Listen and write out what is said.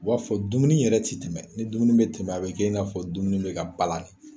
O b'a fɔ dumuni yɛrɛ tɛ tɛmɛ ni dumuni bɛ tɛmɛ a bɛ kɛ i n'a fɔ dumuni bɛ ka balannen